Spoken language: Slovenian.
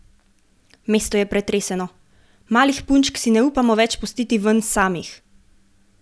Mesto je pretreseno: "Malih punčk si ne upamo več pustiti ven samih.